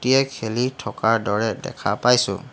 খেলি থকাৰ দৰে দেখা পাইছোঁ।